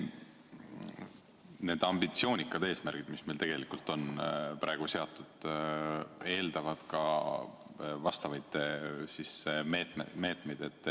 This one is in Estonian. Need ambitsioonikad eesmärgid, mis meil on praegu seatud, eeldavad ka vastavaid meetmeid.